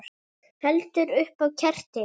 Heldur upp á ketti.